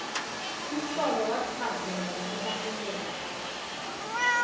umsolwa wachazelwa ngokubaluleka